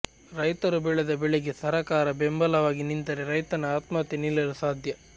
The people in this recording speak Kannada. ರೈತರು ಬೆಳೆದ ಬೆಳೆಗೆ ಸರಕಾರ ಬೆಂಬಲವಾಗಿ ನಿಂತರೆ ರೈತನ ಆತ್ಮಹತ್ಯೆ ನಿಲ್ಲಲು ಸಾಧ್ಯ